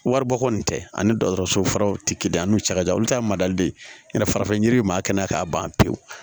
Waribɔ kɔni tɛ ani dɔgɔtɔrɔso furaw tɛ kelen ye an n'u cɛ ka jan olu ta ye mali de ye farafin yiri bɛ maa kɛnɛ kan k'a ban pewu